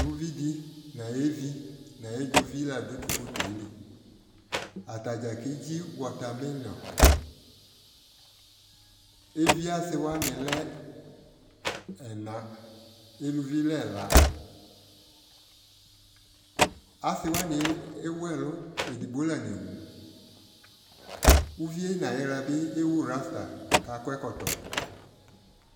uvi di no ayuvi no ayi dzovi la do to fotoe li atadza kedzi watamelon, evi asi wani lɛ ɛna, eluvi lɛ ɛla asi wani ewu ɛlu edigbo la newu, uvie na yi la ewu rasta ko akɔ ɛkɔtɔ